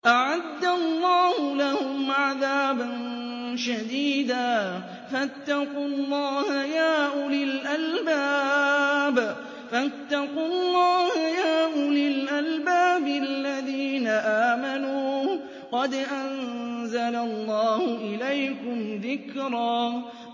أَعَدَّ اللَّهُ لَهُمْ عَذَابًا شَدِيدًا ۖ فَاتَّقُوا اللَّهَ يَا أُولِي الْأَلْبَابِ الَّذِينَ آمَنُوا ۚ قَدْ أَنزَلَ اللَّهُ إِلَيْكُمْ ذِكْرًا